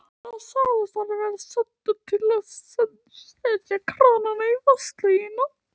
Hann sagðist vera sendur til að setja krana á vatnslögnina.